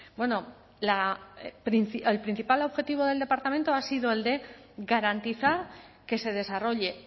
bueno el principal objetivo del departamento ha sido el de garantizar que se desarrolle